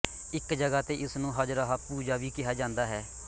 ਇਕ ਜਗ੍ਹਾ ਤੇ ਇਸ ਨੂੰ ਹਜਰਹਾ ਪੂਜਾ ਵੀ ਕਿਹਾ ਜਾਂਦਾ ਹੈ